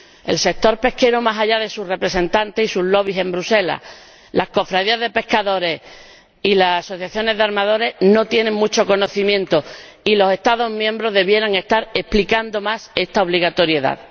el sector pesquero más allá de sus representantes y sus lobbies en Bruselas las cofradías de pescadores y las asociaciones de armadores no tienen mucho conocimiento sobre esto y los Estados miembros deberían estar explicando más esta obligatoriedad.